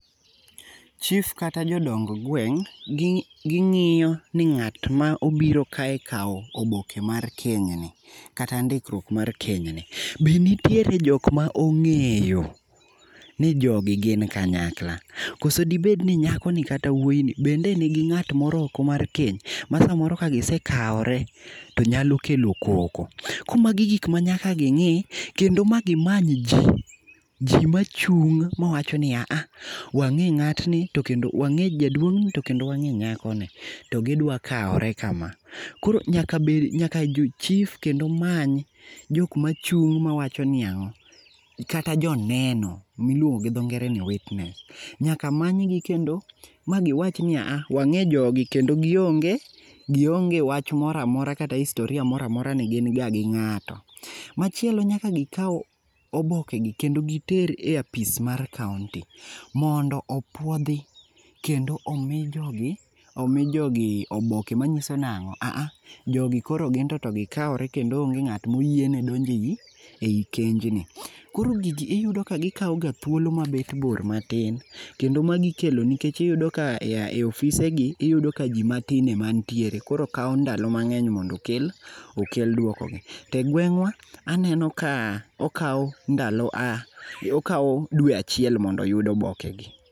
Chief kata jodong gweng ,gingiyo ni ng'at ma obiro kae kao oboke mar keny ni kata ndikruok mar keny ni, be nitiere jokma ongeyo ni jogi gin kanyakla, koso dibedni nyako ni kata wuoy ni bende nigi ng'at moro oko mar keny ma samoro ka gisekaore tonyalo klo koko. Koro magi e gik manyaka gingi kendo ma gimany jii, jii machung mawachoni aha, wange ngatni to kendo wange jaduong ni to kendo wange nyakoni to gidwa kawre kama. Koro nyak abed, nyaka chief kendo many jokma chung mawachoni yawa, kata joneno miluongo gi dho ngere ni witness, nyaka manygi kendo magiwachni aah, wang'e jogi kendo gionge, gionge wach moro amora kata historia moro amora ni gin ga gi ngato. Machielo nyaka gikao oboke gi kendo giter e apis mar kaunti mondo opuodhi kendo omi jogi, omi jogi oboke manyiso nango, aha, jogi koro ginto to gikawre kendo onge ngatma oyiene donje ei kenjni. Koro gigi iyudo ka gikao ga thuolo maber bor matin kendo magi ikelo nikech iyudo ka e ofise gi iyudo ka jii matin ema nitiere koro kaw ndalo mangeny mondo okel, okel duoko gi, to e gwengwa aneno ka okao ndalo ,okao dwe achiel mondo oyud oboke gi